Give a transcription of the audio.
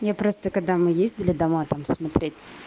я просто когда мы ездили дома там смотреть